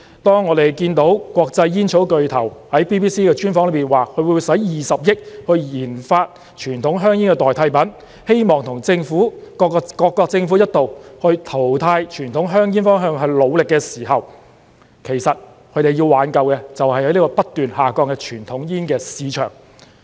當我們看到國際煙草巨頭在 BBC 的專訪說，他會用20億元研發傳統香煙的代替品，希望與各國政府一道朝淘汰傳統香煙的方向努力的時候，其實他們要挽救的，就是不斷下降的傳統煙市場。